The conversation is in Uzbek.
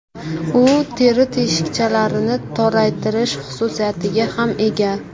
U teri teshikchalarini toraytirish xususiyatiga ham ega.